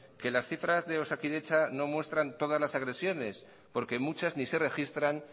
que las cifras de osakidetza no muestran todas las agresiones porque muchas ni se registran